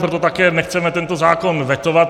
Proto také nechceme tento zákon vetovat.